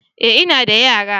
eh ina da yara.